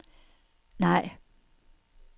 nej